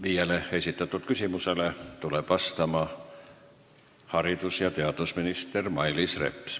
Viiele esitatud küsimusele tuleb vastama haridus- ja teadusminister Mailis Reps.